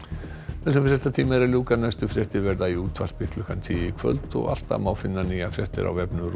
þessum fréttatíma er að ljúka næstu fréttir verða í útvarpi klukkan tíu í kvöld og alltaf má finna nýjar fréttir á vefnum